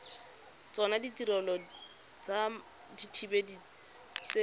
tsona ditirelo tsa dithibedi tse